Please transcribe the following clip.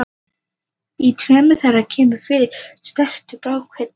Í tveimur þeirra kemur fyrir snertur af bráðkveddu.